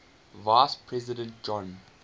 vice president john